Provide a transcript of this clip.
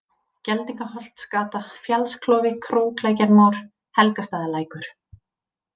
Geldingaholtsgata, Fjallsklofi, Króklækjarmór, Helgastaðalækur